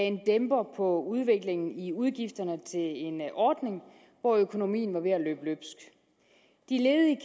en dæmper på udviklingen i udgifterne til en ordning hvor økonomien var ved at løbe løbsk de ledige